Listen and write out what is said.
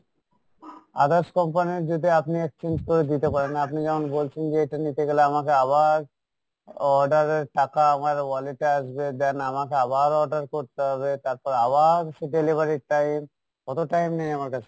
others company র যদি আপনি exchange করে দিতে পারেন আপনি যেমন বলছেন যে এটা নিতে গেলে আমাকে আবার order এর টাকা আমার wallet এ আসবে then আমাকে আবার order করতে হবে, তারপর আবার সেই delivery র time, অতো time নেই আমার কাছে।